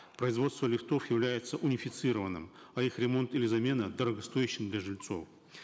производство лифтов является унифицированным а их ремонт или замена дорогостоящим для жильцов